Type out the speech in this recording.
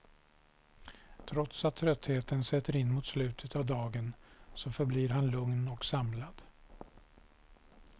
Trots att tröttheten sätter in mot slutet av dagen så förblir han lugn och samlad.